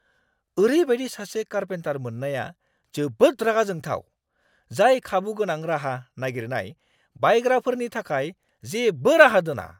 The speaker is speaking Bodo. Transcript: ओरैबायदि सासे कारपेन्टार मोन्नाया जोबोद रागा जोंथाव, जाय खाबुगोनां राहा नागिरनाय बायग्राफोरनि थाखाय जेबो राहा दोना।